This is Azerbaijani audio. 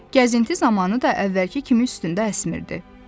Gəzinti zamanı da əvvəlki kimi üstündə əsmirdi.